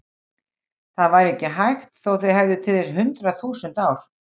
Það væri ekki hægt þó þið hefðuð til þess hundrað þúsund ár.